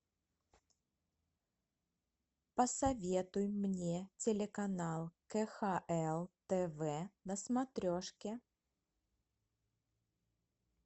посоветуй мне телеканал кхл тв на смотрешке